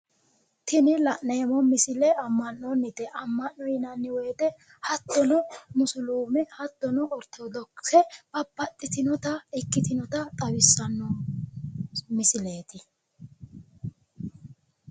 Tini la'neemmo misile amma'nonnite ammano yineemmo hattono musuliime hattono orthodox ikkitinota xawissanno misileeti.